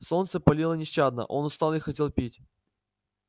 солнце палило нещадно он устал и хотел пить